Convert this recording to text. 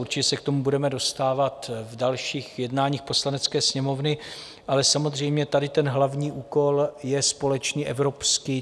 Určitě se k tomu budeme dostávat v dalších jednáních Poslanecké sněmovny, ale samozřejmě tady ten hlavní úkol je společný evropský.